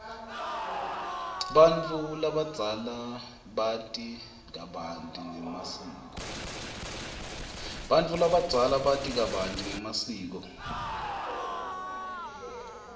bantfu labadzala bati kabanti ngemasiko